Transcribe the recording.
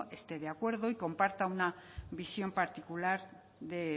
esté de acuerdo y comparta una visión particular